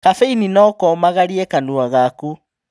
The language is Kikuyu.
Kabeini no komagarie kanua gaku